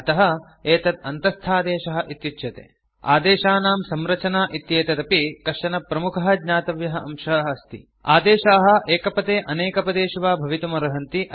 अतः एतत् अन्तस्थादेशः इत्युच्यते आदेशानां संरचना इत्येतदपि कश्चन प्रमुखः ज्ञातव्यः अंशः अस्ति आदेशाः एकपदे अनेकपदेषु वा भवितुम् अर्हन्ति